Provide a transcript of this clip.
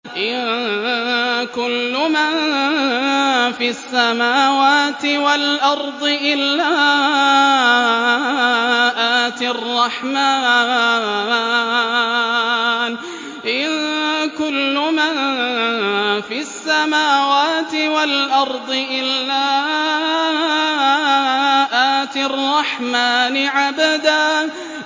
إِن كُلُّ مَن فِي السَّمَاوَاتِ وَالْأَرْضِ إِلَّا آتِي الرَّحْمَٰنِ عَبْدًا